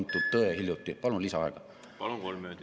Eesti on edukalt digitaliseerinud 99% meie avaliku sektori teenustest.